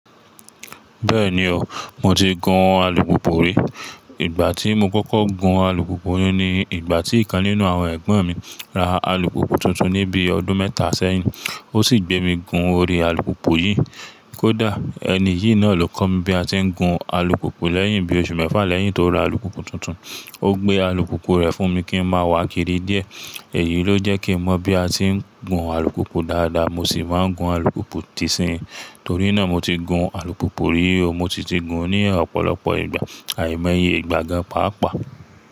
Bẹ́ẹ̀ni o, mo ti gun alùpùpù rí. Ìgbà tí mo kókó gun alùpùpù ni ìgbà tí ìkan nínú àwọn ẹ̀gbọ́n mi ra alùpùpù tuntun ní bí ọdún mẹ́ta sẹ́yìn. O sì gbé mi gun orí alùpùpù yìí. Kódà ẹni yìí náà ló kọ́ mi bí a ti ń gun alùpùpù lẹ́yìn bí oṣù mẹ́fà lẹ́yìn tó ra alùpùpù tuntun, ó gbé alùpùpù rẹ̀ fún mi kí n máa wá kiri díẹ̀. Èyí ló jẹ́ kí n mọ̀ bí a ti ń gun alùpùpù dáadáa mo sì máa ń gun alùpùpù dìsín. Torí náà mo ti gun alùpùpù rí o, mo sìtì gun ní ọ̀pọ̀lọpọ̀ ìgbà, àìmoyẹ ìgbà gan pàápàá.